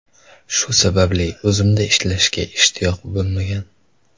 Shu sababli o‘zimda ishlashga ishtiyoq bo‘lmagan.